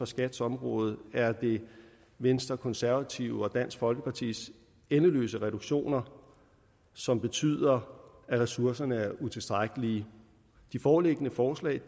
skats områder er det venstre konservative og dansk folkepartis endeløse reduktioner som betyder at ressourcerne er utilstrækkelige de foreliggende forslag